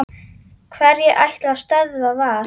Hverjir ætla að stöðva Val?